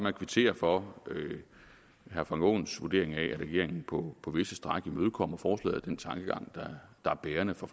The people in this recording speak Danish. at kvittere for herre frank aaens vurdering af at regeringen på på visse stræk imødekommer forslaget og den tankegang der er bærende for